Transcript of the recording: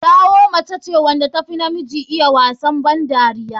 Taiwo mace ce wanda tafi namiji iya wasa ban dariya.